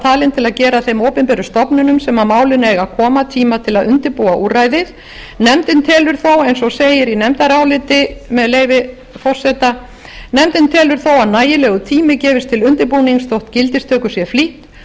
talin að gefa þeim stofnunum sem að málinu eiga að koma tíma til að undirbúa úrræðið nefndin telur þó eins og segir í nefndaráliti með leyfi forseta nefndin telur þó að nægilegur tími gefist til undirbúnings þótt gildistöku sé flýtt og